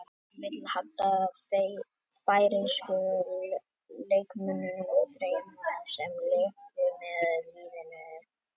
Valur vill halda færeysku leikmönnunum þremur sem léku með liðinu í sumar.